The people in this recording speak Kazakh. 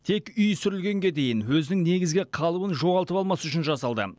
тек үй сүрілгенге дейін өзінің негізгі қалыбын жоғалтып алмас үшін жасалды